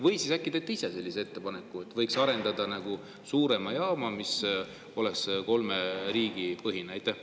Või siis äkki teete ise sellise ettepaneku, et võiks arendada suuremat jaama, mis oleks kolme riigi põhine?